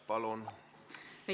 Palun!